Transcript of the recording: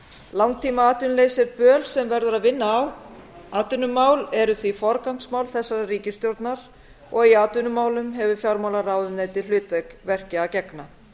langtímaatvinnuleysi er böl sem verður að vinna á atvinnumál eru því forgangsmál þessarar ríkisstjórnar og í atvinnumálum hefur fjármálaráðuneytið hlutverki að gegna